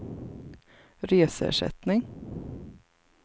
reseersättning